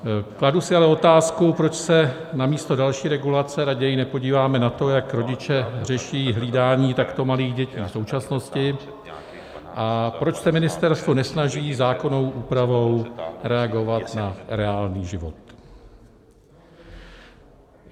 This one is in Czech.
Kladu si ale otázku, proč se namísto další regulace raději nepodíváme na to, jak rodiče řeší hlídání takto malých dětí v současnosti, a proč se ministerstvo nesnaží zákonnou úpravou reagovat na reálný život.